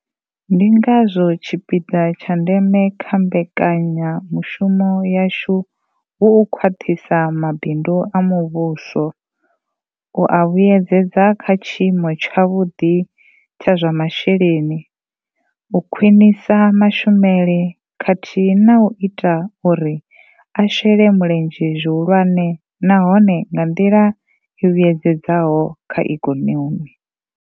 Ndi ngazwo tshipiḓa tsha ndeme kha mbekanyamu shumo yashu hu u khwaṱhisa mabindu a muvhuso, u a vhuedzedza kha tshiimo tshavhuḓi tsha zwa masheleni, u khwinisa mashumele khathihi na u ita uri a shele mulenzhe zwihulwane nahone nga nḓila i vhuyedzedzaho kha ikonomi.